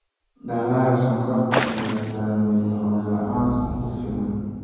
Dalagga sonkorta ayaa saameeyay roob la�aanta ku filan.